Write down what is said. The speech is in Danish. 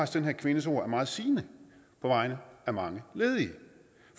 den her kvindes ord er meget sigende på vegne af mange ledige